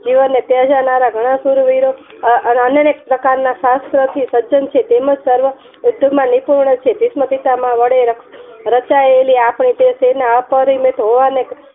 જીવને ત્યજનારા અનેક પ્રકારના શાસ્ત્ર થી સજન છે તેમજ સર્વ નિપુર્ણ છે ભીસમપિતામહઃ વડે રચાયેલી આપડી જે સેના અપરિમિત હોવાને